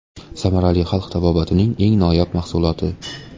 Samarali xalq tabobatining eng noyob mahsuloti.